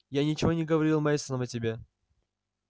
я ничего не говорил мейсонам о тебе